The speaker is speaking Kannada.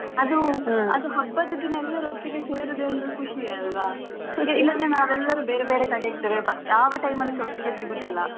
ಅದು ಹಬ್ಬದ ದಿನ ಎಲ್ಲರೊಟ್ಟಿಗೆ ಸೇರುದೇ ಒಂದು ಖುಷಿಯಲ್ವಾ. ಇಲ್ಲದ್ರೆ ನಾವೆಲ್ಲರೂ ಬೇರೆ ಬೇರೆ ಕಡೆ ಇರ್ತೇವೆ ಯಾವ time ಅಲ್ಲಿಸ ಒಟ್ಟಿಗೆ ಸಿಗುದಿಲ್ಲಾ.